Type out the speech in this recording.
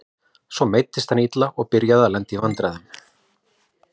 Svo meiddist hann illa og byrjaði að lenda í vandræðum.